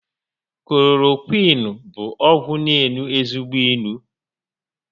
Klorokwịịnu bụ ọgwụ n'enu ezigbo inu